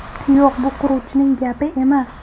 Yo‘q, bu quruvchining gapi emas.